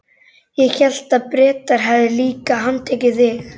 Ég hélt að Bretar hefðu líka handtekið þig?